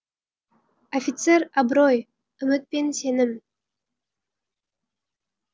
офицер абырой үміт пен сенім